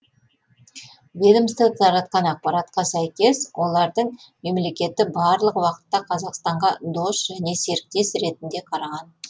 ведомство таратқан ақпаратқа сәйкес олардың мемлекеті барлық уақытта қазақстанға дос және серіктес ретінде қараған